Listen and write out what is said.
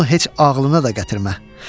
Bunu heç ağılına da gətirmə.